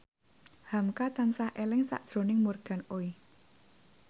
hamka tansah eling sakjroning Morgan Oey